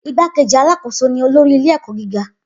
Igbákejì alákòóso ni olórí ilé-ẹ̀kọ́ gíga.